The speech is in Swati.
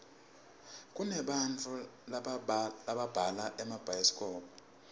kunebantau lababhala emabhayisikobho